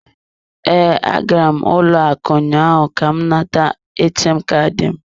Ee, agara m ụlọ akụ ụnyaahụ ka m nata ATM Kaadị m.